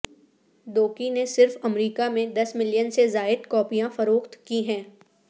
دوکی نے صرف امریکہ میں دس ملین سے زائد کاپیاں فروخت کی ہیں